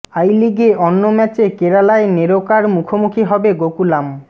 I লিগে অন্য ম্যাচে কেরালায় নেরোকার মুখোমুখি হবে গোকুলাম